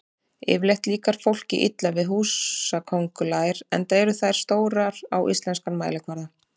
Yfirleitt líkar fólki illa við húsaköngulær enda eru þær stórar á íslenskan mælikvarða.